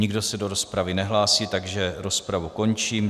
Nikdo se do rozpravy nehlásí, takže rozpravu končím.